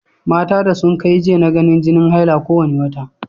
Mata da sun kai j na ganin jini haila ko wane wata.